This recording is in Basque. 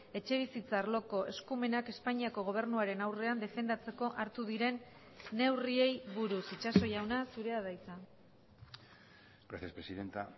etxebizitza arloko eskumenak espainiako gobernuaren aurrean defendatzeko hartu diren neurriei buruz itxaso jauna zurea da hitza gracias presidenta